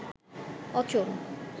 অচল